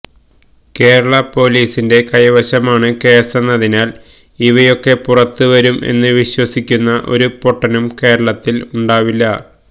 കേരള പോലീസിന്റെ കൈവശമാണ് കേസെന്നതിനാല് ഇവയൊക്കെ പുറത്തുവരും എന്ന് വിശ്വസിക്കുന്ന ഒരു പൊട്ടനും കേരളത്തില് ഉണ്ടാവില്ല